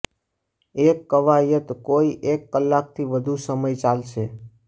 એક કવાયત કોઈ એક કલાકથી વધુ સમય ચાલશે